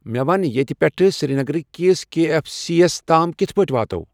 مے ون ییتِہ پیٹھہٕ سرینگرٕ کِس کے ایف سی یس تام کِتھ پٲٹھۍ واتَو ؟